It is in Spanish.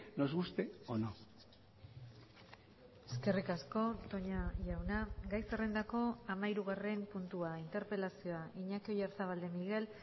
nos guste o no eskerrik asko toña jauna gai zerrendako hamahirugarren puntua interpelazioa iñaki oyarzabal de miguel